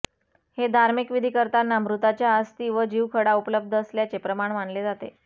हे धार्मिक विधी करताना मृताच्या अस्थी व जीवखडा उपलब्ध असल्याचे प्रमाण मानले जाते